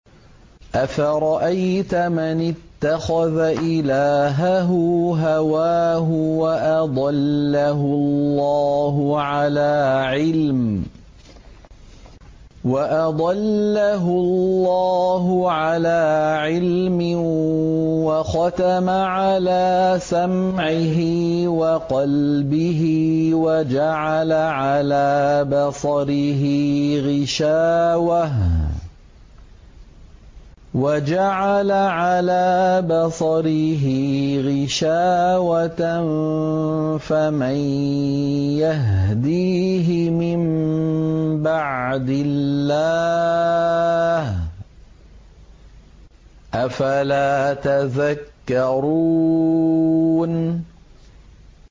أَفَرَأَيْتَ مَنِ اتَّخَذَ إِلَٰهَهُ هَوَاهُ وَأَضَلَّهُ اللَّهُ عَلَىٰ عِلْمٍ وَخَتَمَ عَلَىٰ سَمْعِهِ وَقَلْبِهِ وَجَعَلَ عَلَىٰ بَصَرِهِ غِشَاوَةً فَمَن يَهْدِيهِ مِن بَعْدِ اللَّهِ ۚ أَفَلَا تَذَكَّرُونَ